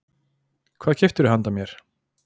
Hvað keyptirðu handa mér?